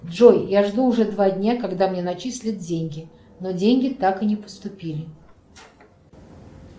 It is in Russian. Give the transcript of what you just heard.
джой я жду уже два дня когда мне начислят деньги но деньги так и не поступили